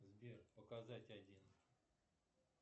сбер показать один